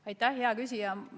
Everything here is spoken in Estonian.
Aitäh, hea küsija!